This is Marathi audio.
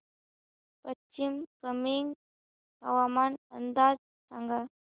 पश्चिम कामेंग हवामान अंदाज सांगा